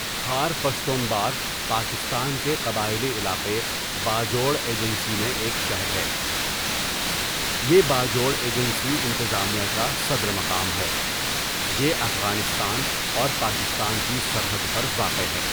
خار پشتو ښار پاکستان کے قبائلی علاقہ باجوڑ ایجنسی میں ایک شہر ہے یہ باجوڑ ایجنسی انتظامیہ کا صدر مقام ہے یہ افغانستان اور پاکستان کی سرحد پر واقع ہے.